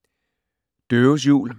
Døves jul